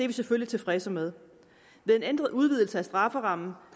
vi selvfølgelig tilfredse med ved en ændret udvidelse af strafferammen